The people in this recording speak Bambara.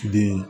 Den